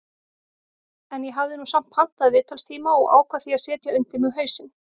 En ég hafði nú samt pantað viðtalstíma og ákvað því að setja undir mig hausinn.